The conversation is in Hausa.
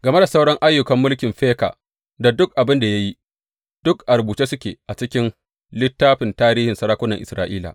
Game da sauran ayyukan mulkin Feka da duk abin da ya yi, duk a rubuce suke a cikin littafin tarihin sarakunan Isra’ila.